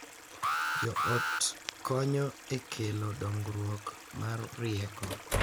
Jo ot konyo e kelo dongruok mar rieko.